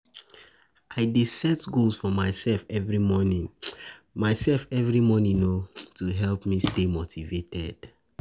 I dey set goals for myself every morning myself every morning to help me stay motivated.